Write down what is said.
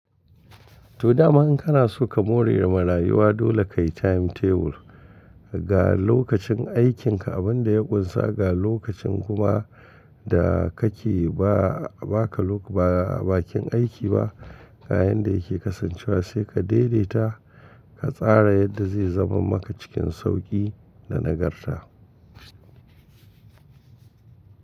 To dama in kana so ka more da marayuwa dole kayi timetable ga lokacin aikinka abunda ya kunsa ga lokacin kuma da kake ba baka lo ba bakin aiki ba ayayin da yake kasancewa sai ka daidaita ka tsara yadda zai zama maka cikin sauki da nagarta.